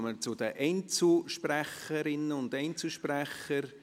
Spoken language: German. Damit kommen wir zu den Einzelsprecherinnen und Einzelsprechern.